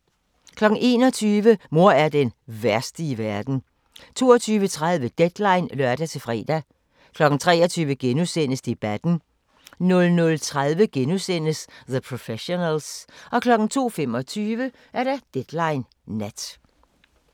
21:00: Mor er den værste i verden 22:30: Deadline (lør-fre) 23:00: Debatten * 00:30: The Professionals * 02:25: Deadline Nat